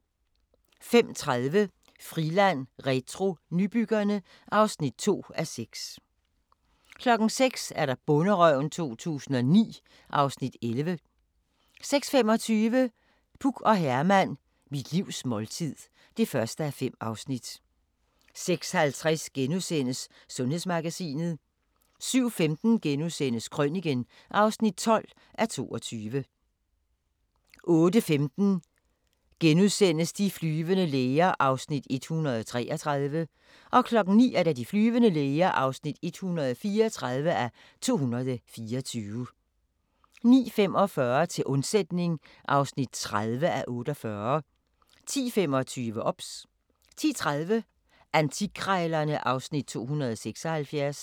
05:30: Friland retro – Nybyggerne (2:6) 06:00: Bonderøven 2009 (Afs. 11) 06:25: Puk og Herman – Mit livs måltid (1:5) 06:50: Sundhedsmagasinet * 07:15: Krøniken (12:22)* 08:15: De flyvende læger (133:224)* 09:00: De flyvende læger (134:224) 09:45: Til undsætning (30:48) 10:25: OBS 10:30: Antikkrejlerne (Afs. 276)